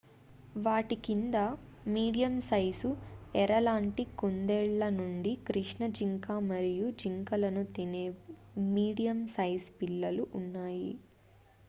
వాటి కింద medium size ఎర లాంటి కుందేళ్ళ నుండి కృష్ణ జింక మరియు జింకలను తినే మీడియం సైజు పిల్లులు ఉన్నాయి